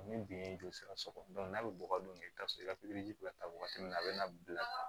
Ni bin ye joli sira sɔrɔ n'a be bɔgɔ don i bi taa sɔrɔ i ka taa wagati min na a be na bila